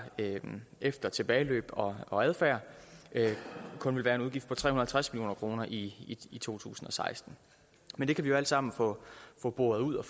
efter tilbageløb og adfærd kun vil være en udgift på tre hundrede og halvtreds million kroner i to tusind og seksten men det kan vi jo alt sammen få få boret ud og